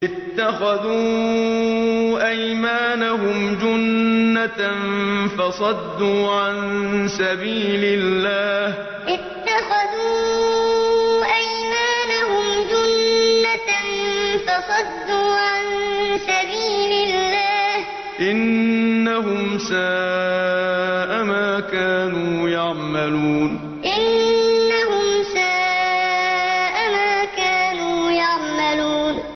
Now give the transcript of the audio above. اتَّخَذُوا أَيْمَانَهُمْ جُنَّةً فَصَدُّوا عَن سَبِيلِ اللَّهِ ۚ إِنَّهُمْ سَاءَ مَا كَانُوا يَعْمَلُونَ اتَّخَذُوا أَيْمَانَهُمْ جُنَّةً فَصَدُّوا عَن سَبِيلِ اللَّهِ ۚ إِنَّهُمْ سَاءَ مَا كَانُوا يَعْمَلُونَ